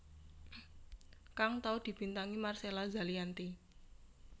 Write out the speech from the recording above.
kang tau dibintangi Marcella Zalianty